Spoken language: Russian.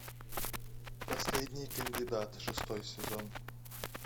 последний кандидат шестой сезон